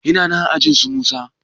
yana nan aajinsu musa